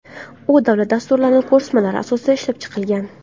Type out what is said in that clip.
U davlat dasturlari, ko‘rsatmalar asosida ishlab chiqilgan.